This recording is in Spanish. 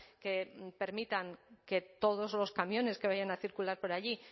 que permitan que todos los camiones que vayan a circular por allí